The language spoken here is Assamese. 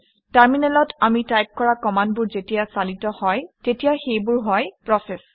টাৰমিনেলত আমি টাইপ কৰা কমাণ্ডবোৰ যেতিয়া চালিত হয় তেতিয়া সেইবোৰ হয় প্ৰচেচ